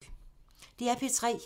DR P3